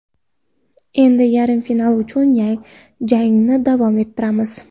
Endi yarim final uchun jangni davom ettiramiz.